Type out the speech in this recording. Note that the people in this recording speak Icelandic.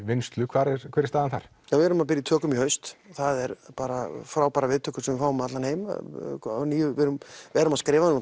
vinnslu hver er hver er staðan þar við erum að byrja í tökum í haust það er bara frábærar viðtökur sem við fáum um allan heim við erum erum að skrifa það